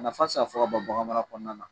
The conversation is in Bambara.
Nafa ti se ka fɔ ka ban bagan mara kɔnɔna na